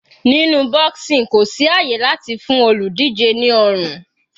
Nínú boxing kò sí àyè láti fún olùdíje ní ọrùn.